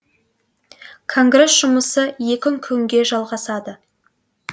конгресс жұмысы екі күнге жалғасады